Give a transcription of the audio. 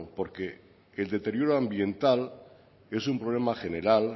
porque el deterioro ambiental es un problema general